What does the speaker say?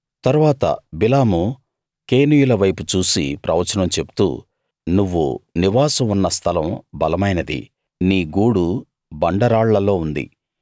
తరువాత బిలాము కేనీయులవైపు చూసి ప్రవచనం చెప్తూ నువ్వు నివాసం ఉన్న స్థలం బలమైనది నీ గూడు బండరాళ్ళల్లో ఉంది